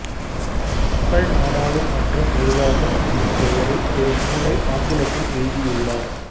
மக்கள் நாடாளு மன்றம் நிருவாகம் என்னும் பெயரில் ஒரு நூலை ஆங்கிலத்தில் எழுதியுள்ளார்